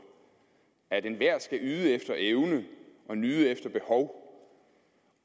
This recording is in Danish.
at enhver skal yde efter evne og nyde efter behov